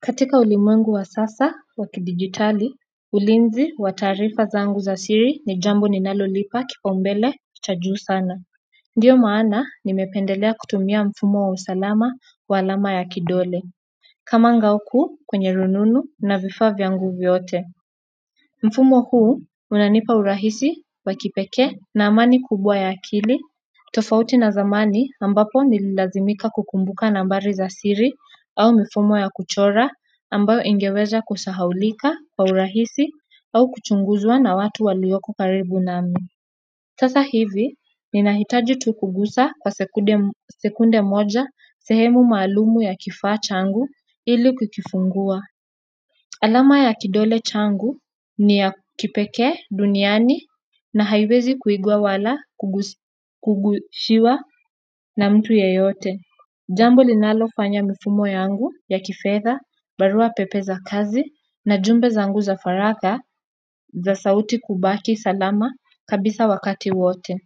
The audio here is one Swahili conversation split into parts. Katika ulimwengu wa sasa wakidigitali, ulinzi wa taarifa zangu za siri ni jambo ninalo lipa kipau mbele cha juu sana ndiyo maana nimependelea kutumia mfumo wa usalama wa alama ya kidole kama ngao kuu kwenye rununu na vifaa vyangu vyote mfumo huu unanipa urahisi wa kipekee na amani kubwa ya akili tofauti na zamani ambapo nililazimika kukumbuka nambari za siri au mifumo ya kuchora ambayo ingeweza kusahaulika, kwa urahisi au kuchunguzwa na watu walioko karibu nami sasa hivi, ninahita tu tukugusa kwa sekunde moja sehemu maalumu ya kifaa changu ili kukifungua alama ya kidole changu ni ya kipekee duniani na haiwezi kuigwa wala kugushiwa na mtu yeyote. Jambo linalofanya mifumo yangu ya kifedha, barua pepe za kazi na jumbe zangu za faragha za sauti kubaki salama kabisa wakati wote.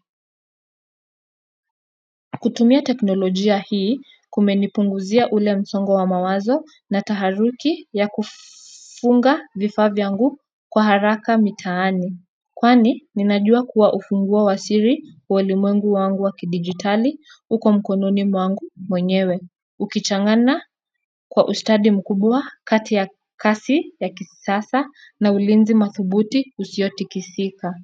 Kutumia teknolojia hii kumenipunguzia ule msongo wa mawazo na taharuki ya kufunga vifaa vyangu kwa haraka mitaani kwani, ninajua kuwa ufungua wasiri wa ulimwengu wangu wa kidigitali uko mkononi mwangu mwenyewe. Ukichangana kwa ustadi mkubwa kati ya kasi ya kisasa na ulinzi mathubuti usio tikisika.